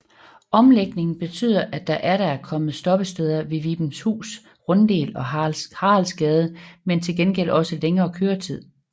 Omlægningen betyder at der atter er kommet stoppesteder ved Vibenshus Runddel og Haraldsgade men til gengæld også længere køretid